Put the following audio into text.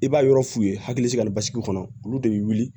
I b'a yɔrɔ f'u ye hakili sigi basigi kɔnɔ olu de bɛ wuli